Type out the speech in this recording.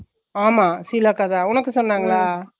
எனக்குஇதபத்திதெரியாதுஉனக்கு talent இருக்குபோ